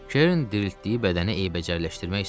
Kerin diriltdiyi bədəni eybəcərləşdirmək istəmirdi.